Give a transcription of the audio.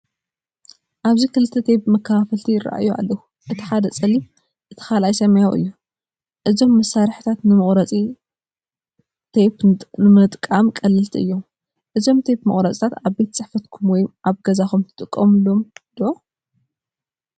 ኣብዚ ክልተ ቴፕ መከፋፈልቲ ይራኣዩ ኣለዉ። እቲ ሓደ ጸሊም፡ እቲ ካልኣይ ሰማያዊ እዩ። እዞም መሳርሒታት ንመቑረጺ ቴፕ ንምጥቃም ቀለልቲ እዮም። እዞም ቴፕ መቑረጺታት ኣብ ቤት ጽሕፈትኩም ወይ ኣብ ገዛኹም ትጥቀሙሎም ዲኹም?